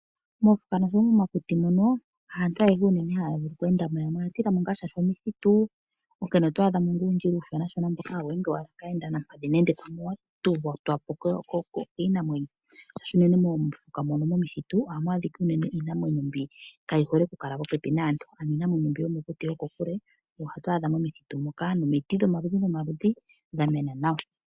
Momakuti mono, ha aantu ayehe ha ya vulu oku endamo, ya mwe oya tilamo shaashi omuthitu, onkene oto adhamo ngaa uundjila uushona shona mbono ha wu endwa kaayenda mpadhi nenge pamwe wa totwapo kiinamwenyo ngaashi unene momithitu oha mu adhika iinamwenyo mbyoka kaaayihole popepi naantu, ano iinamwenyo mbi yomokuti yo ko kule oyo to adha momithutu moka, no miti dhomaludhi nomaludhi dha mena nawa.